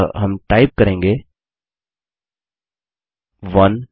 अतः हम टाइप करेंगे 1